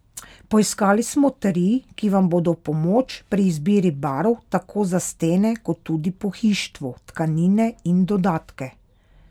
Poiskali smo tri, ki vam bodo v pomoč pri izbiri barv tako za stene kot tudi pohištvo, tkanine in dodatke.